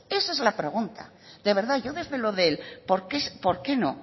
esa es la pregunta de verdad yo desde lo del por qué no